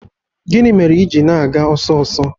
Gịnị mere i ji na-aga ọsọ ọsọ?